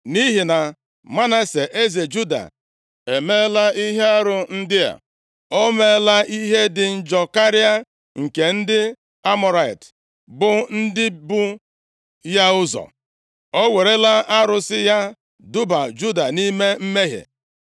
“Nʼihi na Manase, eze Juda emeela ihe arụ ndị a, o meela ihe dị njọ karịa nke ndị Amọrait, + 21:11 Nke a bụ aha ozuzu e ji mara ndị niile bi nʼala Kenan tupu ndị Izrel abịa buso ha agha ma merie ha. bụ ndị bụ ya ụzọ, o werela arụsị ya duba Juda nʼime mmehie.